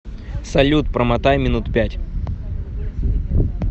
салют промотай минут пять